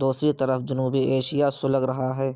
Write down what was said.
دوسری طرف جنوبی ایشیا سلگ رہا ہے